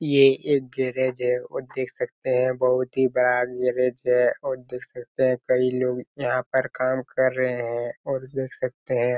ये एक गैरेज है और देख सकते है बहुत ही बड़ा गैरेज है और देख सकते है कई लोग यहाँ पर काम कर रहे है और देख सकते है--